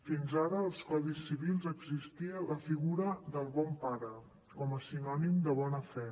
fins ara als codis civils existia la figura del bon pare com a sinònim de bona fe